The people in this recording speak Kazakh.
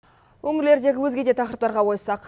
өңірлердегі өзге де тақырыптарға ойыссақ